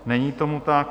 Není tomu tak.